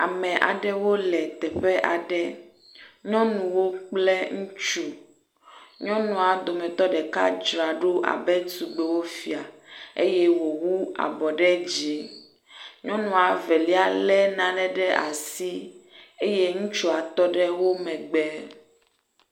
Ame aɖewo le teƒe aɖe, nyɔnuwo kple ŋutsu. Nyɔnuawo dometɔ dzraɖo abe tugbewofia eye wòwu abɔ ɖe dzi. Nyɔnua velia lé nane ɖe asi eye ŋutsua tɔ ɖe wo megbe.